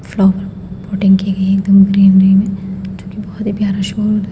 Flower plotting की गई है एकदम ग्रीनरी जो की बहोत ही प्यारा शो हो रहा है।